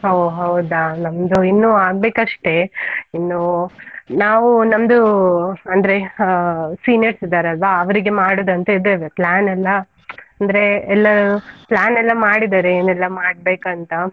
ಓ ಹೌದಾ? ನಮ್ದು ಇನ್ನೂ ಆಗ್ಬೇಕ್ ಅಷ್ಟೇ. ಇನ್ನು ನಾವು ನಮ್ದು ಅಂದ್ರೆ ಆ seniors ಇದ್ದಾರ್ ಅಲ್ವಾ ಅವ್ರಿಗೆ ಮಾಡುದು ಅಂತ ಇದ್ದೇವೆ plan ಎಲ್ಲಾ, ಅಂದ್ರೆ ಎಲ್ಲಾ plan ಎಲ್ಲಾ ಮಾಡಿದಾರೆ ಏನ್ ಎಲ್ಲಾ ಮಾಡ್ಬೇಕು ಅಂತ.